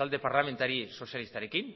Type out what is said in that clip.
talde parlamentari sozialistarekin